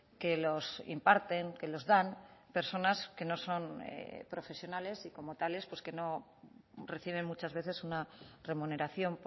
que los imparten que los dan personas que no son profesionales y como tales que no reciben muchas veces una remuneración